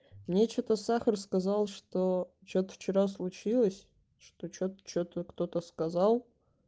мне что-то сахар сказал что что-то вчера случилось что что-то кто-то сказал